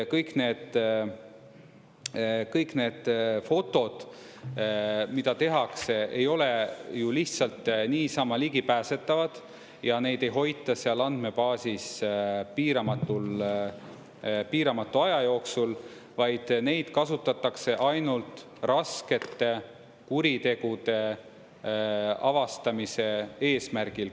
Kõik need kõik need fotod, mida tehakse, ei ole ju lihtsalt niisama ligipääsetavad ja neid ei hoita seal andmebaasis piiramatu aja jooksul, vaid neid kasutatakse ainult raskete kuritegude avastamise eesmärgil.